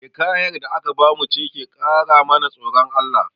Hikayar da aka bamu ce ta ƙara mana tsoron Allah